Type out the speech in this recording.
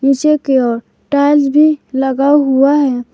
पीछे की और टाइल्स भी लगा हुआ है।